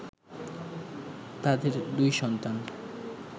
তাদের দুই সন্তান